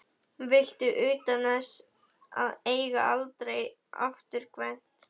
Viltu utan til þess að eiga aldrei afturkvæmt?